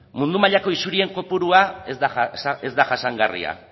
mundu mailako isurien kopurua ez da jasangarria